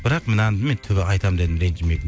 бірақ мынаны мен түбі айтамын дедім ренжіме